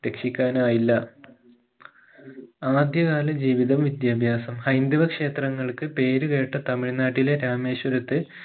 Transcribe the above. രക്ഷിക്കാനായില്ല ആദ്യകാല ജീവിതവും വിദ്യാഭ്യാസം ഹൈന്ദവ ക്ഷേത്രങ്ങൾക്ക് പേരുകേട്ട തമിഴ്‌നാട്ടിലെ രാമേശ്വരത്ത്